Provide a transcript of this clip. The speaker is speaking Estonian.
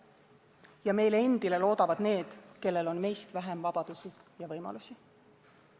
Ja meile endile loodavad need, kellel on meist vähem vabadusi ja võimalusi.